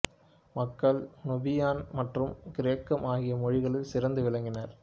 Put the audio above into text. மக்கள் நுபியன் மற்றும் கிரேக்கம் ஆகிய மொழிகளில் சிறந்து விளங்கினர்